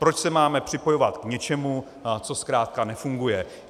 Proč se máme připojovat k něčemu, co zkrátka nefunguje?